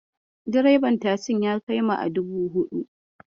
Direban tasin ya kai mu a dubu huɗu.